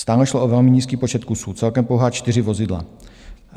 Stále šlo o velmi nízký počet kusů, celkem pouhá čtyři vozidla.